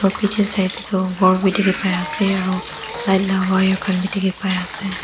yatae sailae toh aro light la wire khan bi dikhipaiase.